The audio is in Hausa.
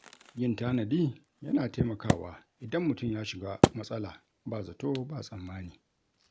Yin tanadi yana taimakawa idan mutum ya shiga matsala ba zato ba tsammani.